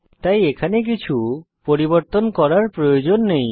তাই এখানে কিছু পরিবর্তন করার প্রয়োজন নেই